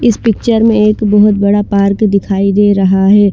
इस पिक्चर में एक बहोत बड़ा पार्क दिखाई दे रहा हे ।